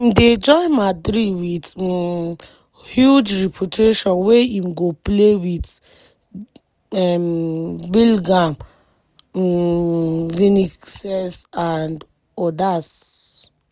dey join madrid wit um huge reputation wey im go play wit um bilgham um vinicius and odas.